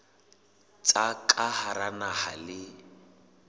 tsa ka hara naha le